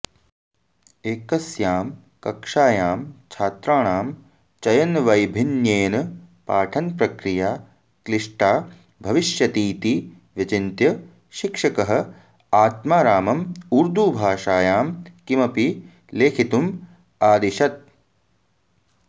एकस्यां कक्षायां छात्राणां चयनवैभिन्न्येन पाठनप्रक्रिया क्लिष्टा भविष्यतीति विचिन्त्य शिक्षकः आत्मारामम् ऊर्दूभाषायां किमपि लेखितुम् आदिशत्